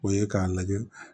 O ye k'a lajɛ